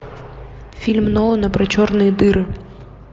фильм нолана про черные дыры